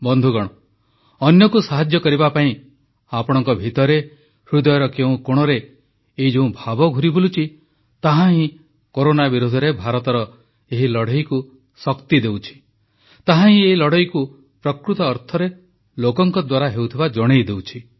ବନ୍ଧୁଗଣ ଅନ୍ୟକୁ ସାହାଯ୍ୟ କରିବା ପାଇଁ ଆପଣଙ୍କ ଭିତରେ ହୃଦୟର କେଉଁ କୋଣରେ ଏଇ ଯେଉଁ ଭାବ ସୃଷ୍ଟି ହୋଇଛି ତାହା ହିଁ କରୋନା ବିରୋଧରେ ଭାରତର ଏହି ଲଢ଼େଇକୁ ଶକ୍ତି ଦେଉଛି ତାହାହିଁ ଏହି ଲଢ଼େଇକୁ ପ୍ରକୃତ ଅର୍ଥରେ ଲୋକଙ୍କ ଦ୍ୱାରା ହେଉଥିବା ଜଣାଇଦେଉଛି